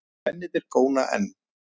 Mennirnir góna enn.